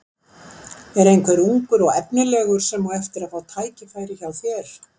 Er einhver ungur og efnilegur sem á eftir að fá tækifæri hjá þér?